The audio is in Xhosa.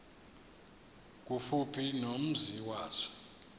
kufuphi nomzi wazo